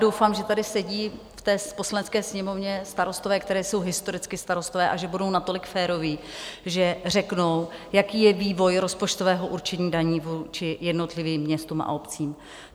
Doufám, že tady sedí v té Poslanecké sněmovně starostové, kteří jsou historicky starostové, a že budou natolik féroví, že řeknou, jaký je vývoj rozpočtového určení daní vůči jednotlivým městům a obcím.